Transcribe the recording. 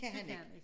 Det kan han ikke